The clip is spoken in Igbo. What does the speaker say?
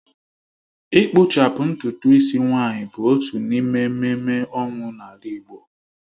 Ịkpụchapụ ntutu ịsị nwaanyị bụ otu n’ime ememme ọnwụ n’ala Igbo